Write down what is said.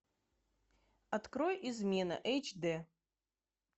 открой измена эйч д